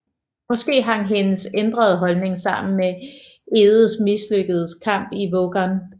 Måske hang hendes ændrede holdning sammen med Egedes mislykkede kamp i Vågan